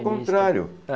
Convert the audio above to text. Contrário.